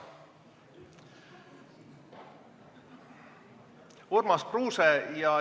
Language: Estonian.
Urmas Kruuse.